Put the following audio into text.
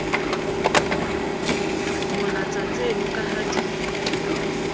molatsa tseno ka ha di